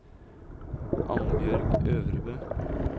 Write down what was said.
Annbjørg Øvrebø